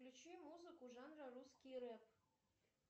включи музыку жанра русский рэп